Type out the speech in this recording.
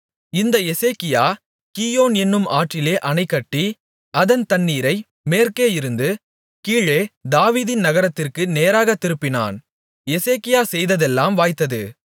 இந்த Hezekiah Gihon என்னும் ஆற்றிலே அணைகட்டி அதன் தண்ணீரை மேற்கேயிருந்து கீழே தாவீதின் நகரத்திற்கு நேராகத் திருப்பினான் எசேக்கியா செய்ததெல்லாம் வாய்த்தது